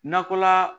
Nakɔla